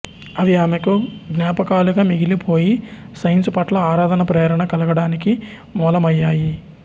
అవి ఆమెకు ఙాపకాలుగా మిగిలిపోయి సైన్సు పట్ల ఆరాధన ప్రేరణ కలగడానికి మూలమయ్యాయి